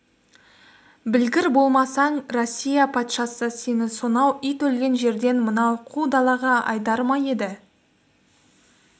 білгір болмасаң россия патшасы сені сонау ит өлген жерден мынау қу далаға айдар ма еді